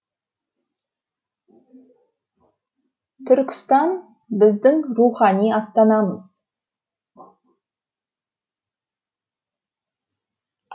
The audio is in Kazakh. түркістан біздің рухани астанамыз